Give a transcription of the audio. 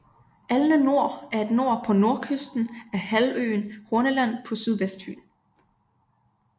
Alne Nor er et nor på nordkysten af halvøen Horneland på sydvestfyn